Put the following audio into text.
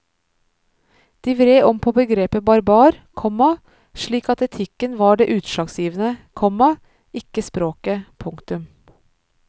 De vred om på begrepet barbar, komma slik at etikken var det utslagsgivende, komma ikke språket. punktum